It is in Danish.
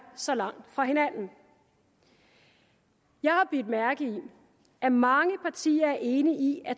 så langt fra hinanden jeg har bidt mærke i at mange partier er enige i